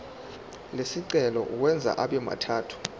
lesicelo uwenze abemathathu